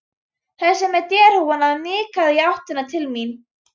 Þessi með derhúfuna nikkaði í áttina til mín.